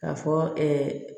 K'a fɔ